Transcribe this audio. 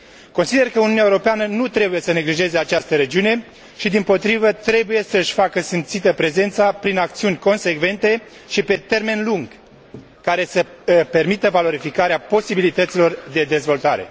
Consider că Uniunea Europeană nu trebuie să neglijeze această regiune, ci dimpotrivă, trebuie să își facă simțită prezența prin acțiuni consecvente și pe termen lung, care să permită valorificarea posibilităților de dezvoltare.